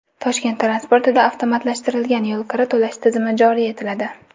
Toshkent transportida avtomatlashtirilgan yo‘lkira to‘lash tizimi joriy etiladi.